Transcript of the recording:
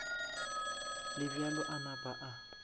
le bjalo a napa a